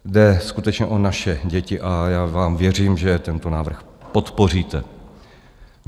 Jde skutečně o naše děti a já vám věřím, že tento návrh podpoříte.